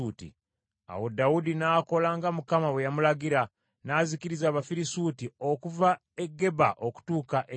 Awo Dawudi n’akola nga Mukama bwe yamulagira, n’azikiriza Abafirisuuti okuva e Geba okutuuka e Gezeri.